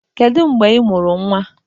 Kedu mgbe ị mụrụ nnwa?